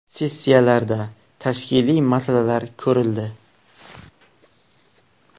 Sessiyalarda tashkiliy masalalar ko‘rildi.